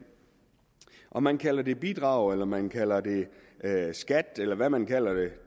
om man kalder det bidrag eller man kalder det skat eller hvad man kalder det